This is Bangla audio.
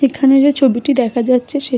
এখানে যেই ছবিটি দেখা যাচ্ছে সেটি--